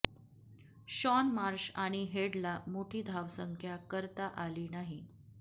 Shawn Marsh आणि हेडला मोठी धावसंख्या करता आली नाही